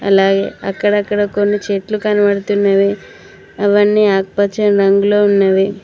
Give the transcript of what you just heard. అలాగే అక్కడక్కడ కొన్ని చెట్లు కనపడుతున్నవి అవన్నీ ఆకుపచ్చని రంగులో ఉన్నవి.